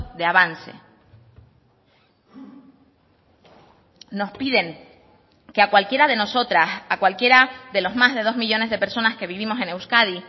de avance nos piden que a cualquiera de nosotras a cualquiera de los más de dos millónes de personas que vivimos en euskadi